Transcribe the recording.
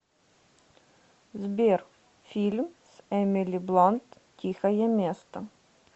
сбер фильм с эмили бланд тихое место